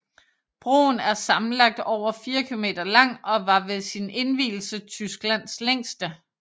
Broen er sammenlagt over 4 kilometer lang og var ved sin indvielse Tysklands længste